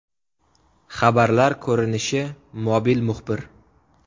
Xabarlar ko‘rinishi Mobil muxbir.